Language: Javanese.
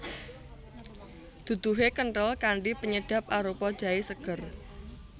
Duduhe kenthel kanthi penyedap arupa jahe seger